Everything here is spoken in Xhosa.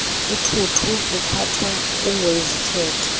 uthuthu luphathwa ngokwezithethe